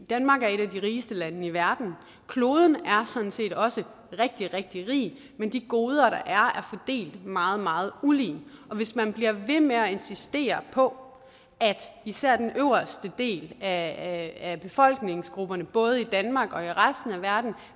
danmark er et af de rigeste lande i verden og kloden er sådan set også rigtig rigtig rig men de goder der er er fordelt meget meget ulige og hvis man bliver ved med at insistere på at især den øverste del af befolkningsgrupperne både i danmark og i resten af verden